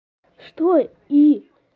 что и